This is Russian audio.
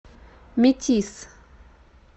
метис